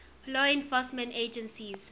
law enforcement agencies